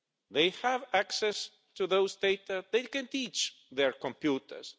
They have access to this data and they can teach their computers.